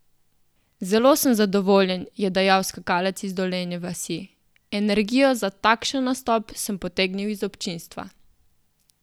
Zelo sem zadovoljen," je dejal skakalec iz Dolenje vasi: "Energijo za takšen nastop sem potegnil iz občinstva.